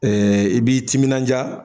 i b'i timinandiya